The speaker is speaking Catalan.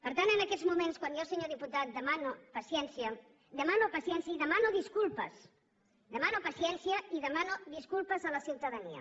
per tant en aquests moments quan jo senyor diputat demano paciència demano paciència i demano disculpes demano paciència i demano disculpes a la ciutadania